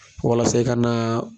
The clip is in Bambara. Wala se e ka naa